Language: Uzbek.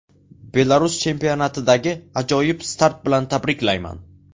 Belarus chempionatidagi ajoyib start bilan tabriklayman.